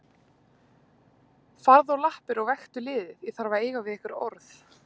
Farðu á lappir og vektu liðið, ég þarf að eiga við ykkur orð.